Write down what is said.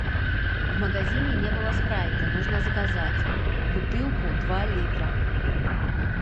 в магазине не было спрайта нужно заказать бутылку два литра